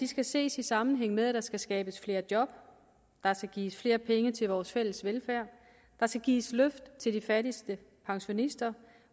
skal ses i sammenhæng med at der skal skabes flere job der skal gives flere penge til vores fælles velfærd der skal gives et løft til de fattigste pensionister